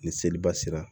Ni seliba sera